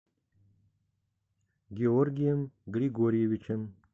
георгием григорьевичем